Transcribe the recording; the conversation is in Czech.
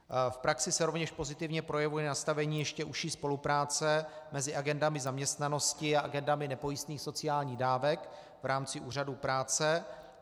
V praxi se rovněž pozitivně projevuje nastavení ještě užší spolupráce mezi agendami zaměstnanosti a agendami nepojistných sociálních dávek v rámci Úřadu práce.